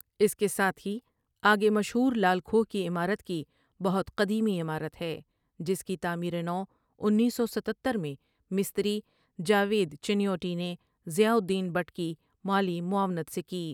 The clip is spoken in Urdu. اس کے ساتھ ہی آگے مشہور لال کھوہ کی عمارت کی بہت قدیمی عمارت ہے جس کی تعمیر نو انیس سو ستہتر میں مستری جاوید چنیوٹی نے ضیا الدین بٹ کی مالی معاونت سے کی ۔